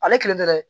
Ale kelen tɛ dɛ